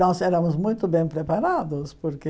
Nós éramos muito bem preparados, porque